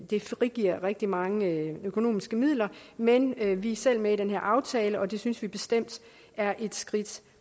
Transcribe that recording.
det frigiver rigtig mange økonomiske midler men vi er selv med i den her aftale og det synes vi bestemt er et skridt